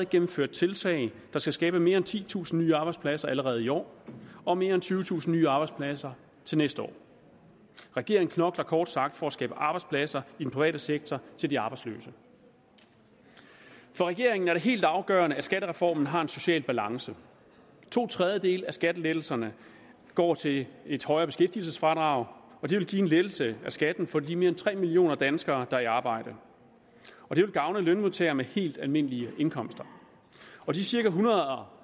gennemført tiltag der skal skabe mere end titusind nye arbejdspladser allerede i år og mere end tyvetusind nye arbejdspladser til næste år regeringen knokler kort sagt for at skabe arbejdspladser i den private sektor til de arbejdsløse for regeringen er det helt afgørende at skattereformen har en social balance to tredjedele af skattelettelserne går til et højere beskæftigelsesfradrag og det vil give en lettelse af skatten for de mere end tre millioner danskere der er i arbejde og det vil gavne lønmodtagere med helt almindelige indkomster de cirka ethundrede og